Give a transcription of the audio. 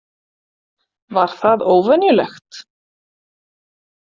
Var það óvenjulegt?